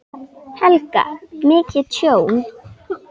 Helga: Mikið tjón?